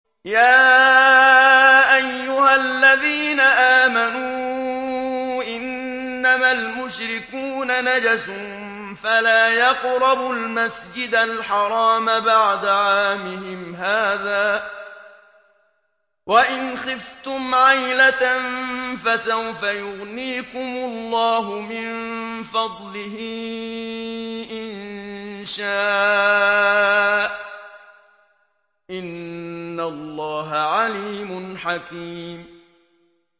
يَا أَيُّهَا الَّذِينَ آمَنُوا إِنَّمَا الْمُشْرِكُونَ نَجَسٌ فَلَا يَقْرَبُوا الْمَسْجِدَ الْحَرَامَ بَعْدَ عَامِهِمْ هَٰذَا ۚ وَإِنْ خِفْتُمْ عَيْلَةً فَسَوْفَ يُغْنِيكُمُ اللَّهُ مِن فَضْلِهِ إِن شَاءَ ۚ إِنَّ اللَّهَ عَلِيمٌ حَكِيمٌ